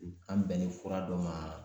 An bɛnnen fura dɔ ma